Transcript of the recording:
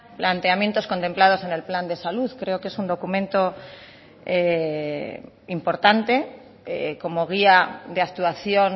planteamientos contemplados en el plan de salud creo que es un documento importante como guía de actuación